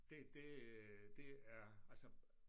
Det det det er altså